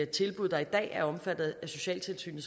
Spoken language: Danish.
tilbud der i dag er omfattet af socialtilsynet